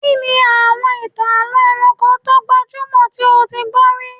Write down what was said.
Kí ni àwọn ìtàn àlọ́ ẹranko tó gbajúmọ̀ tí o ti gbọ́ rí?